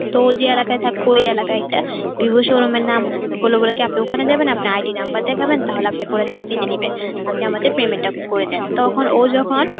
তো যে এলাকায় থাকতো ওই এলাকায় একটা vivo showroom নাম হলো বলে বলে কি আপনি ওখানে যাবেন আপনি ID number দেখাবেন তাহলে আপনি করে চাকরিতে নিবেন আপনি আমাদের payment টা করে দেন তখন ও যখন